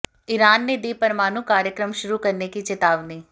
Iran ने दी परमाणु कार्यक्रम शुरू करने की चेतावनी